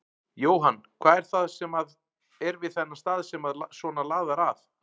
Jóhann: Hvað er það sem að er við þennan stað sem að svona laðar að?